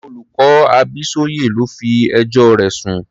Àwọn olùkọ́ Abísóyè ló fi ẹjọ́ rẹ̀ sùn.